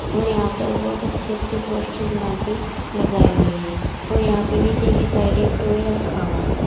और यहां पर बहोत अच्छे अच्छे पोस्टर बनाकर लगाए गए हैं और यहां पर नीचे की साइड एक टॉय रखा हुआ है।